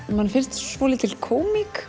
manni finnst svolítil kómík